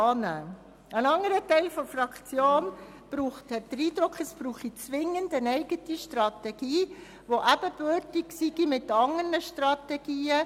Ein anderer Teil der Fraktion hat den Eindruck, es brauche zwingend eine eigene Strategie, die mit anderen Strategien ebenbürtig ist.